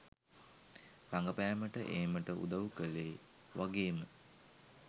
රඟපෑමට ඒමට උදව් කළේ වගේම